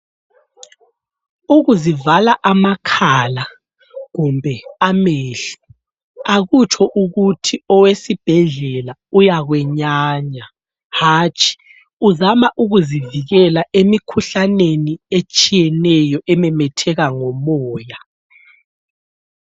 Ukuzivala amakhala, kumbe amehlo akutsho ukuthi owesibhedlela uyakwenyanya, hatshi uzama ukuzivikela emikhuhlaneni etshiyeneyo ememetheka ngomoya.